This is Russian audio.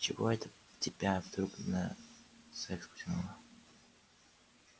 чего это тебя вдруг на секс потянуло